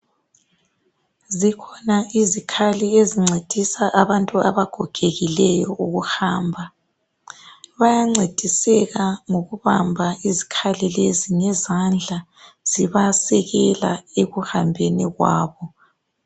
Zikhona izikhali ezingcedisa abantu abagogekileyo ukuhamba bayangcediseka ngokubamba izikhali lezi ngezandla zibasekela ekuhambeni kwabo